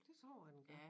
Det tror jeg den gør